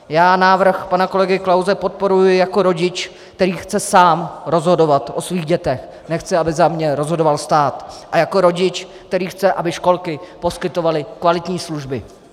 Já návrh pana kolegy Klause podporuji jako rodič, který chce sám rozhodovat o svých dětech, nechci, aby za mě rozhodoval stát, a jako rodič, který chce, aby školky poskytovaly kvalitní služby.